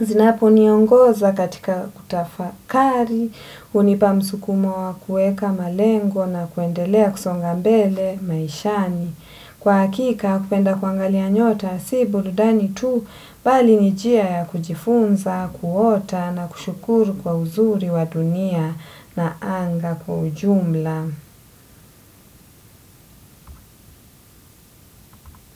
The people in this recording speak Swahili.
Zinapo niongoza katika kutafakari hunipa msukumo wa kuweka malengo na kuendelea kusonga mbele maishani. Kwa hakika kupenda kuangalia nyota, si burudani tu bali ni njia ya kujifunza, kuota na kushukuru kwa uzuri wa dunia na anga kwa ujumla.